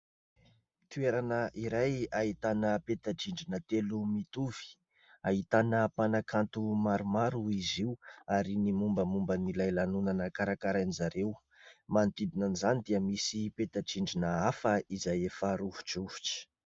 Toerana iray ahitana peta-drindrina telo mitovy, ahitana mpanakanto maromaro izy io ary ny mombamomban'ilay lanonana karakarain'izareo, manodidina an'izany dia misy peta-drindrina hafa izay efa rovidrovitra.